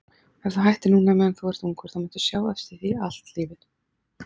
Ef þú hættir núna meðan þú ert ungur þá muntu sjá eftir því allt lífið.